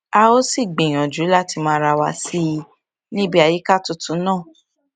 a ó sì gbìyànjú láti mọ ara wa sí i níbi àyíká tuntun náà